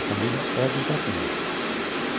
A família é de Itatinga.